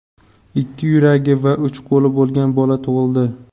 ikki yuragi va uch qo‘li bo‘lgan bola tug‘ildi.